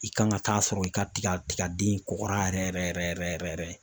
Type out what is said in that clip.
I kan ka taa a sɔrɔ i ka tiga tigaden kɔgɔra yɛrɛ yɛrɛ yɛrɛ yɛrɛ.